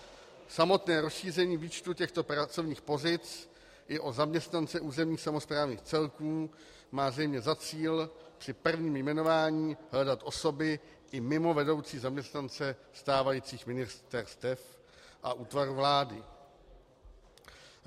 Samotné rozšíření výčtu těchto pracovních pozic i o zaměstnance územních samosprávných celků má zřejmě za cíl při prvním jmenování hledat osoby i mimo vedoucí zaměstnance stávajících ministerstev a útvaru vlády.